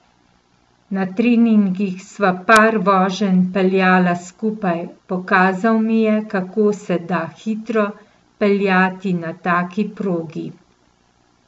Na treningih sva par voženj peljala skupaj, pokazal mi je, kako se da hitro peljati na taki progi.